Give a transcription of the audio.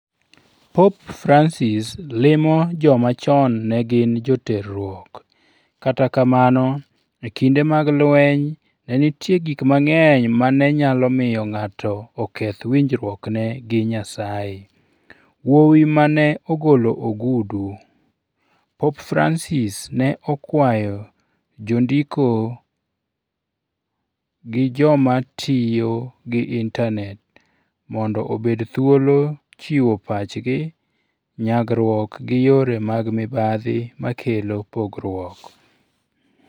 Pop Francis limo joma chon ne gin joterruok Kata kamano, e kinde mag lweny, ne nitie gik mang'eny ma ne nyalo miyo ng'ato oketh winjruokne gi Nyasaye. Wuowi ma ne ogolo ogudu Pope Francis ne okwayo jondiko gi joma tiyo gi intanet mondo obed thuolo chiwo pachgi nyagruok gi yore mag mibadhi makelo pogruok.